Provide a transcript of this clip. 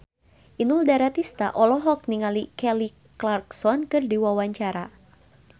Inul Daratista olohok ningali Kelly Clarkson keur diwawancara